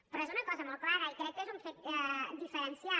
però és una cosa molt clara i crec que és un fet diferencial